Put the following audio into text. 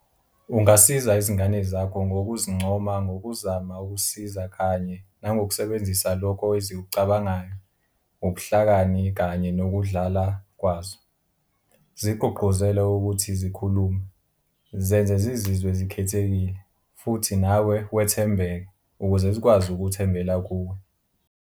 Ungasiza izingane zakho ngokuzincoma ngokuzama ukusiza kanye nangokusebenzisa lokho ezikucabangayo, ubuhlakani kanye nokudlala kwazo, zigqugquzele ukuthi zikhulume, zenze zizizwe zikhethekile, futhi nawe wethembeke, ukuze zikwazi ukuthembela kuwe.